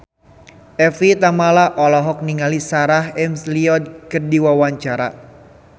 Evie Tamala olohok ningali Sarah McLeod keur diwawancara